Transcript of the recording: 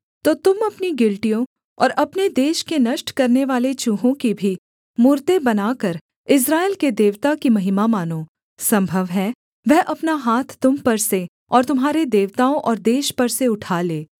तो तुम अपनी गिलटियों और अपने देश के नष्ट करनेवाले चूहों की भी मूरतें बनाकर इस्राएल के देवता की महिमा मानो सम्भव है वह अपना हाथ तुम पर से और तुम्हारे देवताओं और देश पर से उठा ले